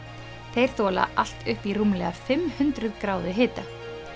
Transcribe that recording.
þeir þola allt upp í rúmlega fimm hundruð gráðu hita